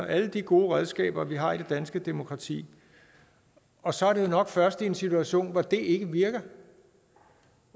alle de gode redskaber vi har i det danske demokrati og så er det nok først i en situation hvor det ikke virker